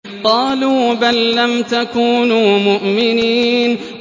قَالُوا بَل لَّمْ تَكُونُوا مُؤْمِنِينَ